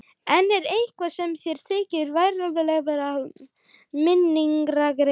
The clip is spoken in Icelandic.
Enn er eitt sem mér þykir varhugavert við minningargreinar.